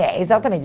É, exatamente.